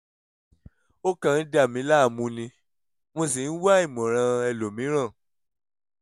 ó kàn ń dà mí láàmú ni mo sì ń wá ìmọ̀ràn ẹlòmìíràn